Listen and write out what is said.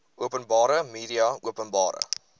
openbare media openbare